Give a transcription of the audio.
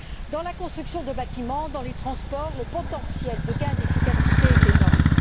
Dans la construction des bâtiments et dans les transports, le potentiel de gain d'efficacité est énorme.